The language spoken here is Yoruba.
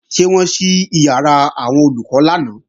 Ṣé wọ́n ṣí ìyàrá àwọn Olùkọ́ lánàá?